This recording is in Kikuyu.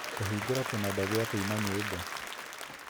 Ta hingũra kĩnanda gĩa kũina nyĩmbo